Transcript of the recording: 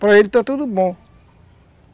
Para ele está tudo bom.